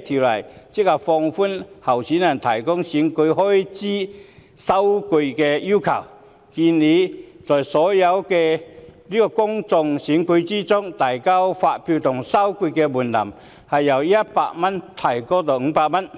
則旨在放寬候選人提供選舉開支收據的要求，建議在所有的公眾選舉中，遞交發票及收據的門檻由100元提高至500元。